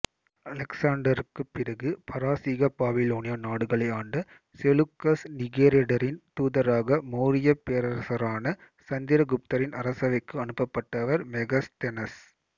அலெக்சாண்டருக்குப் பிறகு பாரசீக பாபிலோனிய நாடுகளை ஆண்ட செலூகஸ் நிகேடரின் தூதராக மௌரியப் பேரரசரான சந்திரகுப்தரின் அரசவைக்கு அனுப்பப்பட்டவர் மெகஸ்தெனஸ்